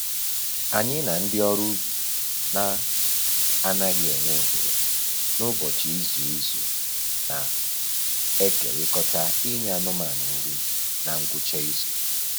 Anyị na ndị ọrụ ubi na-anaghị enwe ohere n'ụbọchị izu izu na-ekerikọta inye anụmanụ nri na ngwụcha izu